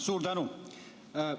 Suur tänu!